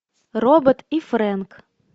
робот и фрэнк